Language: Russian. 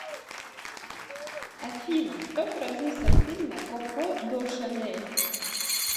афина кто продюсер фильма коко до шанель